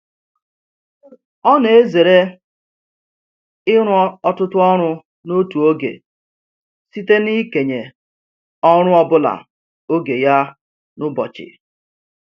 Ọ na-ezere ịrụ ọtụtụ ọrụ n'otu oge site n'ikenye ọrụ ọbụla oge ya n'ụbọchị.